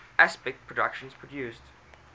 aspect productions produced